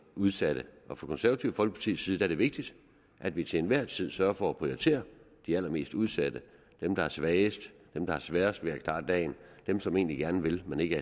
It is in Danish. udsatte fra konservative folkeparti side er det vigtigt at vi til enhver tid sørger for at prioritere de allermest udsatte dem der er svagest dem der har sværest ved at klare dagen dem som egentlig gerne vil men ikke